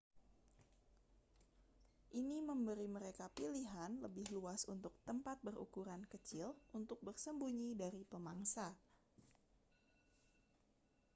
ini memberi mereka pilihan lebih luas untuk tempat berukuran kecil untuk bersembunyi dari pemangsa